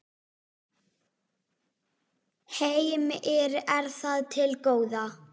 Heimir: Er það til góða?